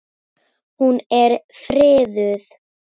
Hún er friðuð.